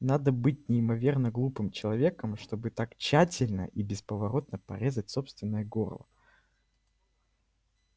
надо быть неимоверно глупым человеком чтобы так тщательно и бесповоротно порезать собственное горло